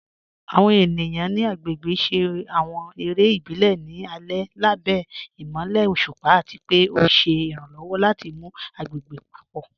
Àwọn ènìyàn ni agbégbè ṣé àwọn èrè ìbílẹ̀ ní alẹ̀ lábẹ̀ imọ̀lẹ̀ ọ̀ṣupa, àti pẹ̀ o ṣé iràǹlọ́wọ̀ láti mú agbégbè papọ.